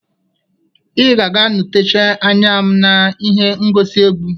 Ị ga-aga nọchite anya m na ihe ngosi egwu